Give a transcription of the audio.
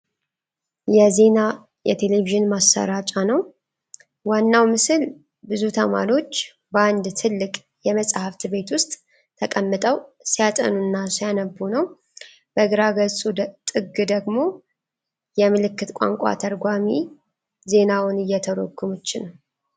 የዜና የቴሌቪዥን ማሠራጫ ነው ። ዋናው ምስል ብዙ ተማሪዎች በአንድ ትልቅ የመጻሕፍት ቤት ውስጥ ተቀምጠው ሲያጠኑ እና ሲያነቡ ነው። በግራ ገጹ ጥግ ደግሞ የምልክት ቋንቋ ተርጓሚ ዜናውን እየተረጎመች ነው።